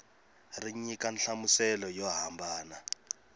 ri nyika nhlamuselo yo hambana